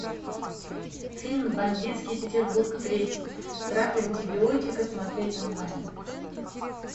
фильм бандитский петербург третий крах антибиотика смотреть онлайн